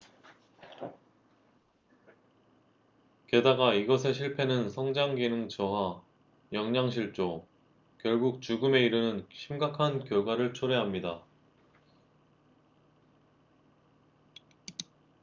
게다가 이것의 실패는 성장 기능 저하 영양실조 결국 죽음에 이르는 심각한 결과를 초래합니다